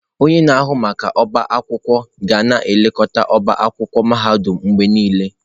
Onye na-ahụ maka ọbá akwụkwọ ga na-elekọta ọbá akwụkwọ mahadum mgbe niile.